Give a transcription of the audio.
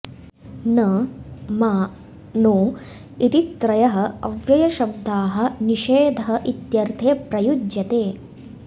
न मा नो इति त्रयः अव्ययशब्दाः निषेधः इत्यर्थे प्रयुज्यते